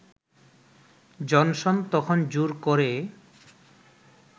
Johnson তখন জোর করে